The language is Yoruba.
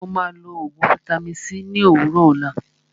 Ó máà lọ oògùn vaitami c ní òwúrọ̀ òlá.